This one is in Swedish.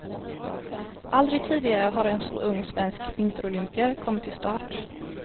Aldrig tidigare har en så ung svensk vinterolympier kommit till start.